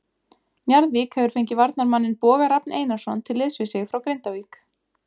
Njarðvík hefur fengið varnarmanninn Boga Rafn Einarsson til liðs við sig frá Grindavík.